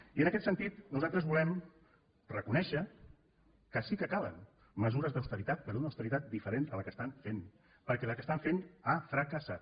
i en aquest sentit nosaltres volem reconèixer que sí que calen mesures d’austeritat però d’una austeritat diferent a la que estan fent perquè la que estan fent ha fracassat